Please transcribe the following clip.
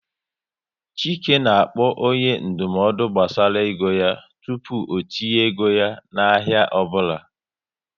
Chike na-akpọ onye ndụmọdụ gbasara ego yá tupu o tinye ego ya na ahịa ọbụla